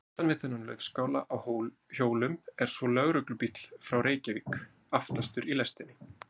Aftan við þennan laufskála á hjólum er svo lögreglubíll frá Reykjavík, aftastur í lestinni.